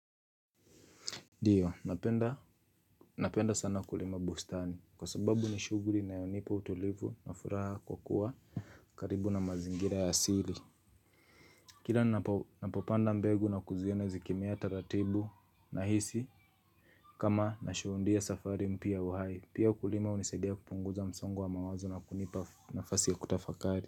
Ndio napenda sana kulima bustani kwa sababu ni shughuli inayonipa utulivu na furaha kwa kuwa karibu na mazingira ya asili. Kila ninapopanda mbegu na kuziona zikimea taratibu nahisi kama nashuhudia safari mpya ya uhai. Pia kulima hunisaidia kupunguza msongo wa mawazo na kunipa nafasi ya kutafakari.